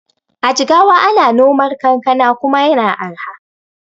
A jigawa ana nomar kankana kuma yana arha.